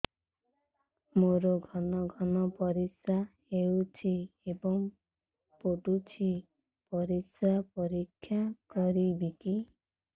ମୋର ଘନ ଘନ ପରିସ୍ରା ହେଉଛି ଏବଂ ପଡ଼ୁଛି ପରିସ୍ରା ପରୀକ୍ଷା କରିବିକି